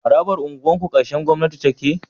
Harabar unguwa karkashin gwamnati take